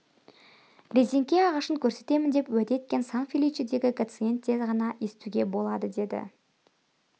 резеңке ағашын көрсетемін деп уәде еткен сан-феличедегі гациендте ғана естуге болады деді